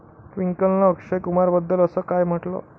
ट्विंकलनं अक्षय कुमारबद्दल असं काय म्हटलं?